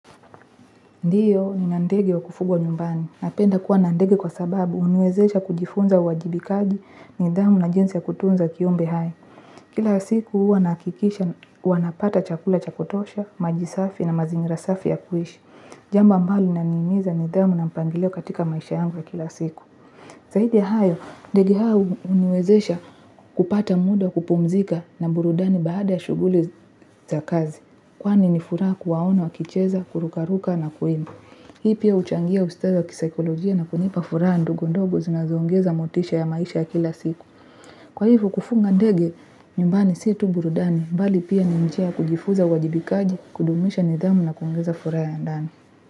Ndiyo ni na ndege wa kufugwa nyumbani. Napenda kuwa na ndege kwa sababu uniwezesha kujifunza uwajibikaji nidhamu na jinsi ya kutunza kiumbe hai. Kila siku huu wanakikisha, wanapata chakula chakotosha, majisafi na mazingira safi ya kuishi. Jambo ambalo inanimiza nidhamu na mpangilio katika maisha yangu wa kila siku. Zahidi ya hayo, ndege hau uniwezesha kupata muda kupumzika na burudani baada ya shuguli za kazi. Kwani ni fura kuwaona wa kicheza, kurukaruka na kuimba. Hii pia uchangia ustawi wa kisaikolojia na kunipa fura ndogo ndogo zinazoongeza motisha ya maisha ya kila siku. Kwa hivo kufunga ndege, nyumbani si tu burudani, mbali pia ni mchia kujifuza wajibikaji, kudumisha nidhamu na kuhongeza fura ya ndani.